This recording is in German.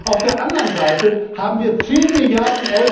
Auf der anderen Seite haben wir 10